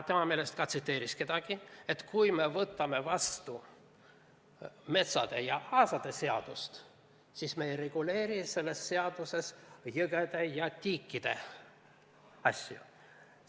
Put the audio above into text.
Ta vist tsiteeris kedagi, kui ütles, et kui me võtame vastu metsade ja aasade seadust, siis me ei reguleeri selles seaduses jõgede ja tiikide asju.